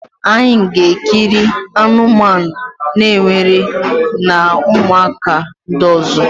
anyị ga-ekiri anụmanụ na-ewere na ụmụaka ndị ọzọ.